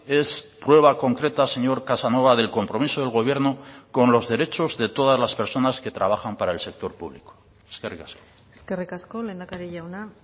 es prueba concreta señor casanova del compromiso del gobierno con los derechos de todas las personas que trabajan para el sector público eskerrik asko eskerrik asko lehendakari jauna